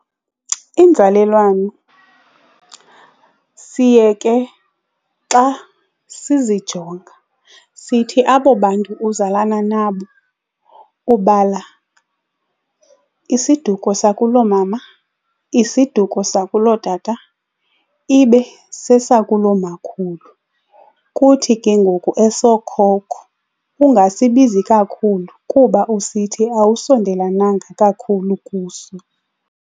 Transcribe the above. Inzalelwano siye ke xa sizijonga sithi abo bantu uzalana nabo ubala isiduko sakuloomama, isiduko sakulootata, ibe sesakulomakhulu kuthi ke ngoku esookhokho ungasibizi kakhulu kuba usithi awusondelananga kakhulu kuso.